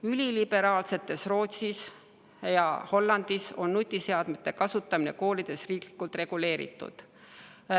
Üliliberaalsetes Rootsis ja Hollandis on nutiseadmete kasutamine koolides riiklikult reguleeritud.